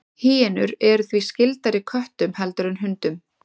Hýenur eru því skyldari köttum heldur en hundum.